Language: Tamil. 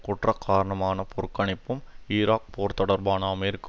குற்றகாரனமான புறக்கணிப்பும் ஈராக் போர் தொடர்பான அமெரிக்க